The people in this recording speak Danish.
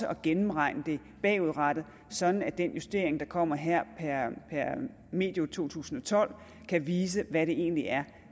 og gennemregne det bagudrettet sådan at den justering der kommer her per medio to tusind og tolv kan vise hvad det egentlig er